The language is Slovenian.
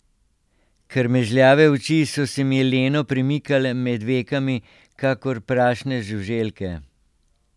Krmežljave oči so se mi leno premikale med vekami kakor prašne žuželke.